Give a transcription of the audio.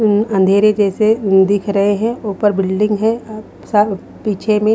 उम्म अंधेरे जैसे दिख रहे हैं ऊपर बिल्डिंग है अह सब पीछे में--